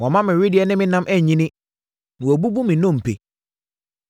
Wama me wedeɛ ne me nam anyini Na wabubu me nnompe.